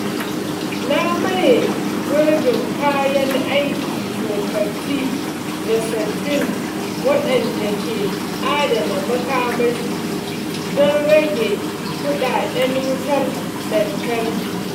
Na maye gurbin kayan aiki tsofaffi da sabbin waɗanda ke adana makamashi don rage kuɗaɗen wutar lantarki.